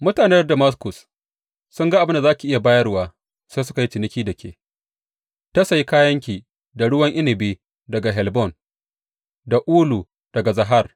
Mutanen Damaskus sun ga abin da za ki iya bayarwa sai suka yi ciniki da ke, ta sayi kayanki da ruwan inabi daga Helbon, da ulu daga Zahar.